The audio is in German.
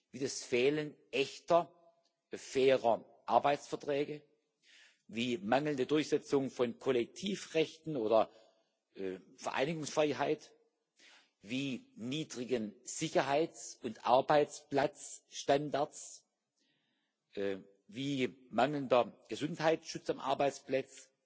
wie das Fehlen echter fairer Arbeitsverträge, wie mangelnde Durchsetzung von Kollektivrechten oder Vereinigungsfreiheit wie niedrigen Sicherheits und Arbeitsplatzstandards, wie mangelndem Gesundheitsschutz am Arbeitsplatz,